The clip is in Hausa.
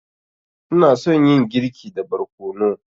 Ina son yin girki da barkono.